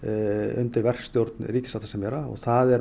undir verkstjórn ríkissáttasemjara það